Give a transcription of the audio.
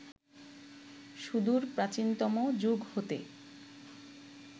সুদূর প্রাচীনতম যুগ হতে